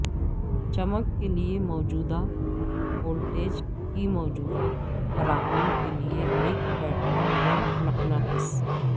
چمک کے لئے موجودہ وولٹیج کی موجودہ فراہمی کے لئے ایک بیٹری یا مقناطیس